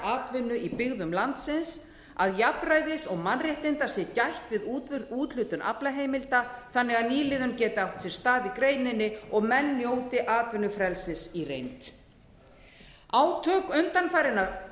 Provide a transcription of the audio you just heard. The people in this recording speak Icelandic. atvinnu í byggðum landsins að jafnræðis og mannréttinda sé gætt við úthlutun aflaheimilda þannig að nýliðun geti átt sér stað í greininni og menn njóti atvinnufrelsis í reynd átök undanfarinna